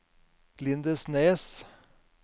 Lindesnes